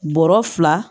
Bɔrɔ fila